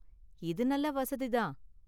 இது நல்ல வசதி தான்.